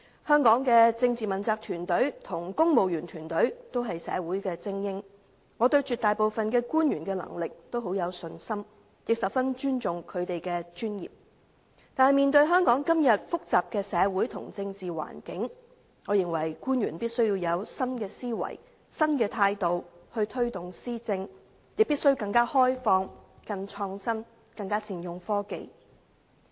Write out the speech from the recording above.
香港的政治問責團隊和公務員團隊均是社會的精英，我對絕大部分官員的能力甚有信心，亦十分尊重他們的專業，但面對香港今天複雜的社會和政治環境，我認為官員必須以新思維、新態度推動施政，亦必須更開放、更創新、更善用科技。